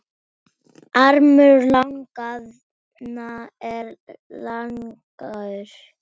Armur laganna er langur